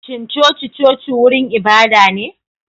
Shin coci-coci wurin ibada ne?